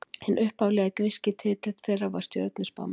Hinn upphaflegi gríski titill þeirra var stjörnuspámenn.